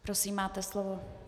Prosím, máte slovo.